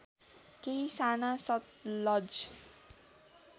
केही साना सतलज